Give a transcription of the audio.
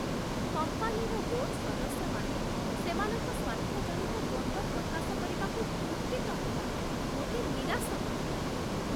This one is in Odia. କମ୍ପାନୀର ବୋର୍ଡ ସଦସ୍ୟମାନେ ସେମାନଙ୍କ ସ୍ୱାର୍ଥଜନିତ ଦ୍ୱନ୍ଦ୍ୱ ପ୍ରକାଶ କରିବାକୁ କୁଣ୍ଠିତ ହେବା ମୋତେ ନିରାଶ କରିଥାଏ।